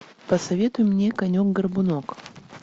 посоветуй мне конек горбунок